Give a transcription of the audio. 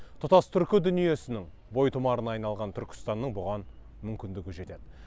тұтас түркі дүниесінің бой тұмарына айналған түркістанның бұған мүмкіндігі жетеді